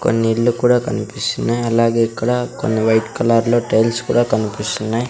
కొన్ని ఇల్లు కూడా కనిపిస్తున్నాయ్ అలాగే ఇక్కడ కొన్ని వైట్ కలర్లో టైల్స్ కుడా కన్పిస్తున్నాయి.